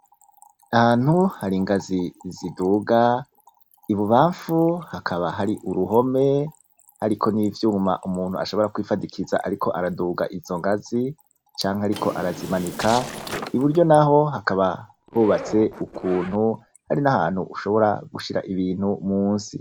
Ahantu hari igazi ziduga, ibubafu hakaba hari uruhome hariko n'ivyuma umuntu ashobora kwifadikiza ariko araduga izo ngazi canke ariko arazimanika, iburyo naho hakaba hubatse ukuntu hariho na hantu ushobora gushira ibintu musi.